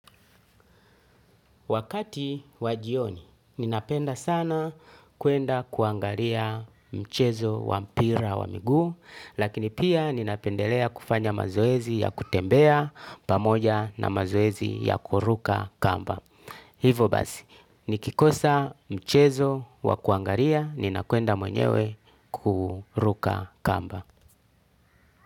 Wakati wa jioni, ninapenda sana kuenda kuangalia mchezo wa mpira wa miguu, lakini pia ninapendelea kufanya mazoezi ya kutembea pamoja na mazoezi ya kuruka kamba. Hivo basi, nikikosa mchezo wa kuangaliia, ninakwenda mwenyewe kuruka kamba.